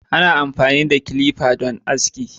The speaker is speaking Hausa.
Ana amfani da kilifa dan aski